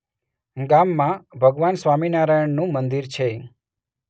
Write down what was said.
ગામમાં ભગવાન સ્વામિનારાયણનું મંદિર છે.